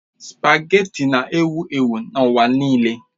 Spagéti na-ewu ewu n'ụwa nile